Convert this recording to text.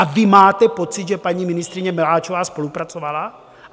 A vy máte pocit, že paní ministryně Maláčová spolupracovala?